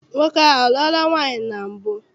Nwoke ahụ a lụọla nwaanyị na mbụ?